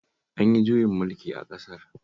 An yi juyin mulki a ƙasar